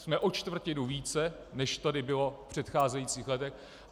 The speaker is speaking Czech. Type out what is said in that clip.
Jsme o čtvrtinu více, než tady bylo v předcházejících letech.